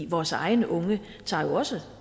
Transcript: vores egne unge tager jo også